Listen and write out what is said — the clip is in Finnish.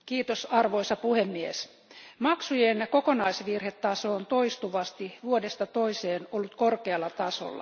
Arvoisa puhemies, maksujen kokonaisvirhetaso on toistuvasti, vuodesta toiseen, ollut korkealla tasolla.